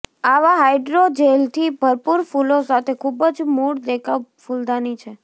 આવા હાઈડ્રોજેલથી ભરપૂર ફૂલો સાથે ખૂબ જ મૂળ દેખાવ ફૂલદાની છે